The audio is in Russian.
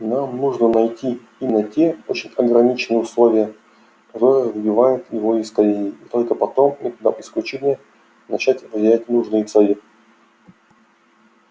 нам нужно найти именно те очень ограниченные условия которые выбивают его из колеи и только потом методом исключения начать выделять нужные цели